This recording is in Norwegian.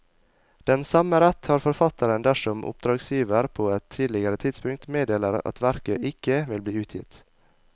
Den samme rett har forfatteren dersom oppdragsgiver på et tidligere tidspunkt meddeler at verket ikke vil bli utgitt.